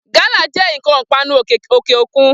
Gálà jẹ́ ǹkan ìpanu òkè òkun